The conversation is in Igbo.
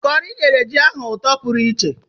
Kọri nyere ji ahụ ụtọ pụrụ iche.